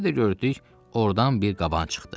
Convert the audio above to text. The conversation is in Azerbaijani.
Bir də gördük, ordan bir qaban çıxdı.